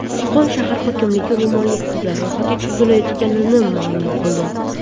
Qo‘qon shahar hokimligi ro‘molli qizlar ro‘yxati tuzilayotganini ma’lum qildi.